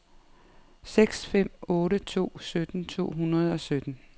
seks fem otte to sytten to hundrede og sytten